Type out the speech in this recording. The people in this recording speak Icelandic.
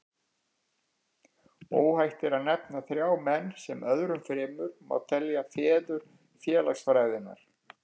Óhætt er að nefna þrjá menn, sem öðrum fremur má telja feður félagsfræðinnar.